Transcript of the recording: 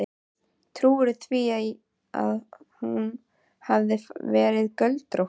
Trúirðu því að hún hafi verið göldrótt.